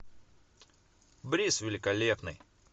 брис великолепный